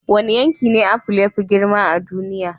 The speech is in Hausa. Wane yanki ne apple ya fi girma a duniya?